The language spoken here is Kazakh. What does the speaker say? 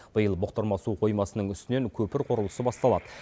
биыл бұқтырма су қоймасының үстінен көпір құрылысы басталады